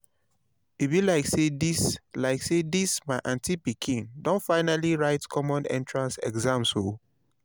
e be like say dis like say dis my aunty pikin don finally write common entrance exam o